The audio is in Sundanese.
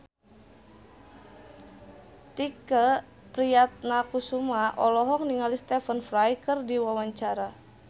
Tike Priatnakusuma olohok ningali Stephen Fry keur diwawancara